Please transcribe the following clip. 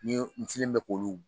Ni n selen bɛ k'olu